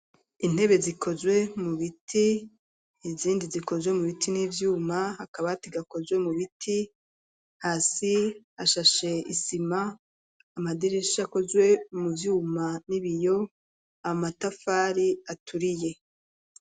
Intebe zikozwe mu biti, izindi zikozwe mu biti n'ivyuma, akabati gakozwe mu biti. Hasi hashashe isima, amadirisha akozwe mu vyuma n'ibiyo, amatafari aturiye.